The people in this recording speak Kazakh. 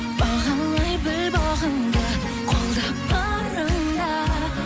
бағалай біл бағыңды қолда барында